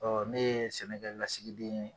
Ɔ ne ye sɛnɛ kɛ lasigiden ye.